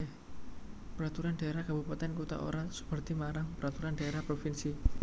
Peraturan Dhaérah Kabupatèn Kutha ora subordinat marang Peraturan Dhaérah Provinsi